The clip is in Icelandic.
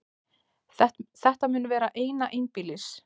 Þetta mun vera eina einbýlis